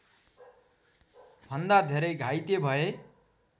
भन्दा धेरै घाइते भए